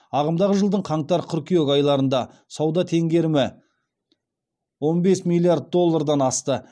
ағымдағы жылдың қаңтар қыркүйек айларында сауда теңгерімі он бес миллиард доллардан асты